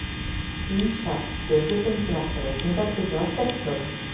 Ýmsar stöðubundnar breytingar urðu á sérhljóðum.